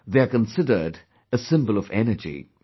They are considered a symbol of energy